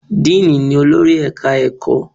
Dean ni olórí Ẹ̀ka-ẹ̀kọ́.